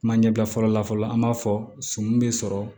Kuma ɲɛbila fɔlɔ la fɔlɔ an b'a fɔ sɔmi be sɔrɔ